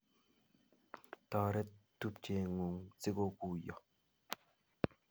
Toret tupchengung si ko guiyo